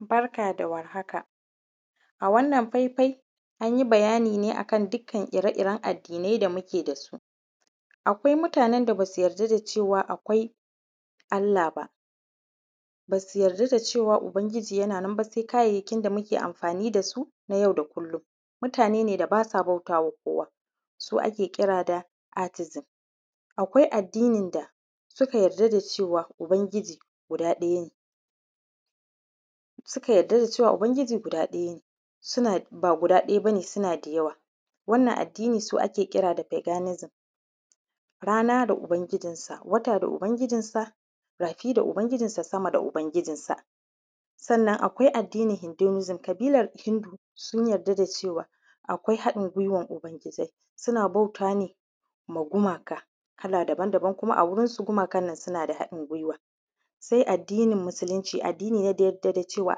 Barka da warhaka a wannan faifai an yi bayani ne akan dukkan ire-iren addinai da muke da su, akwai mutanen da ba su yarda da cewa akwai Allah ba, ba su yarda da cewa ubangiji yana nan sai kayayyaki da muke amfani da su na yau da kullum, mutane ne da ba su bauta ma kowa su ake kira da artism. Akwai addinin da suka yarda da cewa ubangijin guda ɗaya ne suka yarda da cewa ubangijin ba guda ɗaya ba ne suna da yawa, wannan addini su ake kira da paganism rana da ubangijinsa, wata da ubangijinsa, rafi da ubangijinsa, sama da ubangijinsa, sannan akwai addinin hindunism ƙabilar hindu sun yarda da cewa akwai haɗin gwiwan ubangijai suna bauta ne ma gumaka kala daban-daban kuma a gurinsu gumakan nan suna da haɗin gwiwa, sai addinin musulinci, addini ne da ya yarda da cewa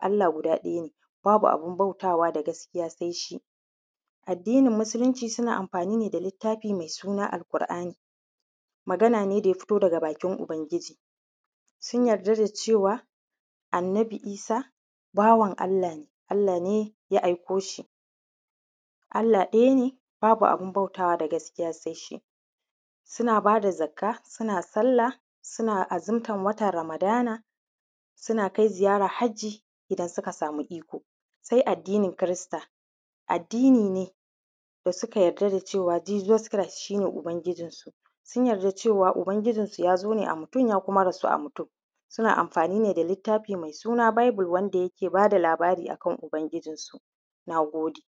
Allah guda ɗaya ne babu abun bautawa da gaskiya sai shi, addinin musulinci suna amfani ne da littafi mai suna al’kur’ani, magana ne da ya fito daga bakin ubangiji, sun yarda da cewa annabi Isa bawan Allah ne Allah ne ya aiko shi Allah ɗaya ne babu abun bautawa da gaskiya sai shi, suna ba da zakka, suna salla, suna azumtar watan ramadana, suna kai ziyara hajji idan suka samu iko. Sai addinin kirista, addini ne da suka yarda da cewa Jesus Chris shi ne ubangijinsu sun yarda cewa ubangijinsu ya zo ne a mutum kuma ya rasu a mutum, suna amfani ne da littafi mai suna bible wanda yake ba da labara akan ubangijinsu. Na gode.